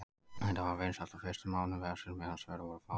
Þetta var vinsælt á fyrstu mánuðum vefsins meðan svör voru fá.